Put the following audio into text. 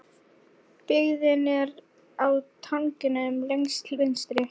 Byggðin er á tanganum lengst til vinstri.